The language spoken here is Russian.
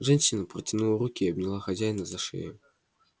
женщина протянула руки и обняла хозяина за шею